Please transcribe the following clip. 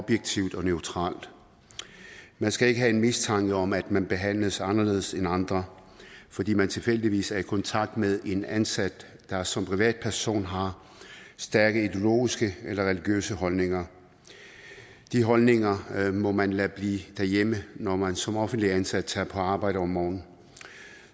objektivt og neutralt man skal ikke have en mistanke om at man behandles anderledes end andre fordi man tilfældigvis er i kontakt med en ansat der som privatperson har stærke ideologiske eller religiøse holdninger de holdninger må man lade blive derhjemme når man som offentligt ansat tager på arbejde om morgenen